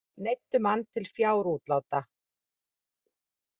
Neyddu mann til fjárútláta